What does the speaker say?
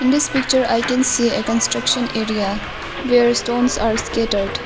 In this picture I can see a construction area where a stones are scattered.